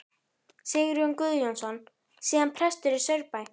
Sigurjón Guðjónsson, síðar prestur í Saurbæ.